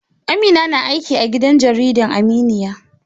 Amina na aiki a gidan jarida Aminya